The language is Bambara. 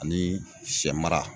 Ani sɛmara